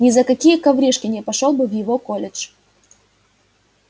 ни за какие коврижки не пошёл бы в его колледж